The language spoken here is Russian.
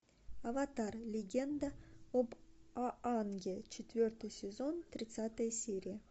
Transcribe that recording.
аватар легенда об аанге четвертый сезон тридцатая серия